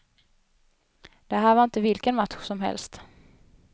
Det här var inte vilken match som helst.